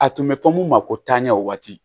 A tun bɛ fɔ mun ma ko taaɲɛ waati